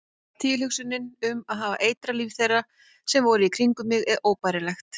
Tilhugsunin um að hafa eitrað líf þeirra sem voru í kringum mig er óbærileg.